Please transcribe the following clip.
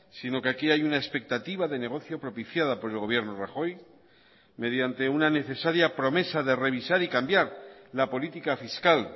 sino que aquí hay una expectativa de negocio propiciada por el gobierno rajoy mediante una necesaria promesa de revisar y cambiar la política fiscal